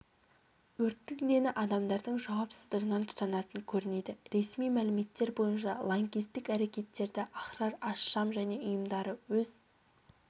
өрттің дені адамдардың жауапсыздығынан тұтанатын көрінеді ресми мәліметтер бойынша лаңкестік әрекеттерді ахрар аш-шам және ұйымдары өз